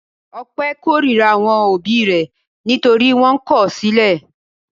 Ọpẹ́ korira àwọn òbí rẹ̀ nítorí wọ́n kọ̀ ọ́ sílẹ̀.